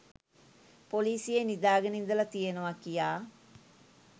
පොලීසියේ නිදාගෙන ඉඳලා තියනවා කියා